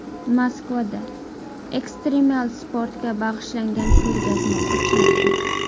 Moskvada ekstremal sportga bag‘ishlangan ko‘rgazma ochiladi .